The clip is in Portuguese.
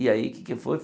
E aí o que é que foi?